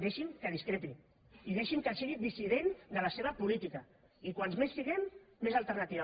deixi’m que discrepi i deixi’m que sigui dissident de la seva política i com més siguem més alternativa